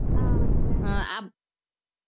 ஆஹ் வந்துட்டேன்